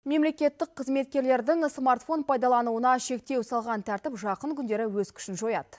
мемлекеттік қызметкерлердің смартфон пайдалануына шектеу салған тәртіп жақын күндері өз күшін жояды